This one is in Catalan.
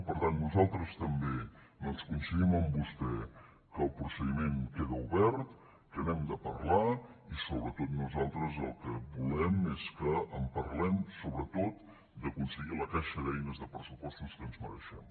per tant nosaltres també doncs coincidim amb vostè que el procediment queda obert que n’hem de parlar i sobretot nosaltres el que volem és que en parlem so·bretot d’aconseguir la caixa d’eines de pressupostos que ens mereixem